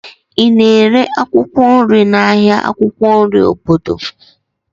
Ị na-ere akwụkwọ nri n'ahịa akwụkwọ nri obodo?